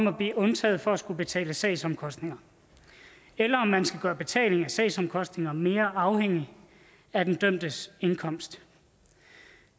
at blive undtaget fra at skulle betale sagsomkostninger eller om man skal gøre betaling af sagsomkostninger mere afhængig af den dømtes indkomst